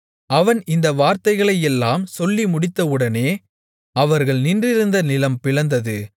அவன் இந்த வார்த்தைகளையெல்லாம் சொல்லி முடித்தவுடனே அவர்கள் நின்றிருந்த நிலம் பிளந்தது